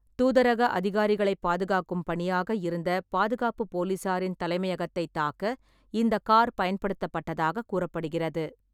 தூதரக அதிகாரிகளை பாதுகாக்கும் பணியாக இருந்த பாதுகாப்பு போலீசாரின் தலைமையகத்தை தாக்க இந்த கார் பயன்படுத்தப்பட்டதாக கூறப்படுகிறது.